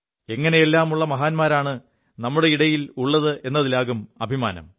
എങ്ങനെയെല്ലാമുള്ള മഹാന്മാരാണ് നമ്മുടെ ഇടയിലുള്ളതെതിലാകും അഭിമാനം